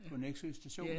På Nexø station